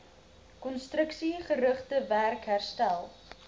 konstruksiegerigte werk herstel